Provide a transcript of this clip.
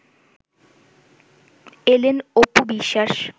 এলেন অপু বিশ্বাস